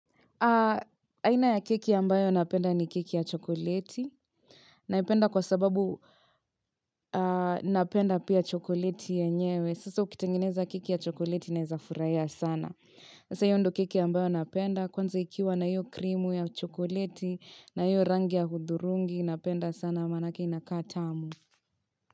Aina ya keki ambayo napenda ni keki ya chokoleti. Naipenda kwa sababu napenda pia chokoleti yenyewe. Sasa ukitengineza keki ya chokoleti naeza furahia sana. Sasa hiyo ndo keki ambayo napenda. Kwanza ikiwa na hiyo krimu ya chokoleti na hiyo rangi ya hudhurungi napenda sana. Namaanake inakata amu.